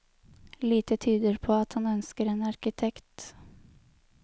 Lite tyder på at han ønsker en arkitekt.